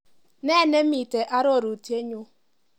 Nee nemiite arorutienyu?